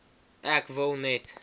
ek wil net